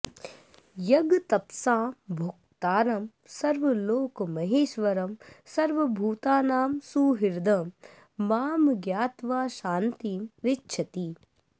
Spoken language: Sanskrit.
यज्ञतपसां भोक्तारं सर्वलोकमहेश्वरं सर्वभूतानां सुहृदं मां ज्ञात्वा शान्तिम् ऋच्छति